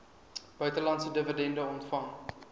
buitelandse dividende ontvang